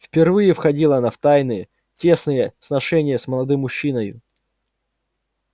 впервые входила она в тайные тесные сношения с молодым мужчиною